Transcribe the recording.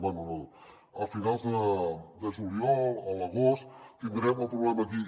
bé no a finals de juliol a l’agost tindrem el problema aquí